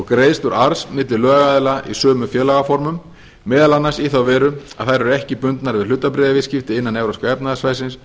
greiðslur arðs milli lögaðila í sömu félagsformum meðal annars í þá veru að þær eru ekki bundnar við hlutabréfaviðskipti innan evrópska efnahagssvæðisins